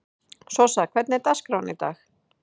Sossa, hvernig er dagskráin í dag?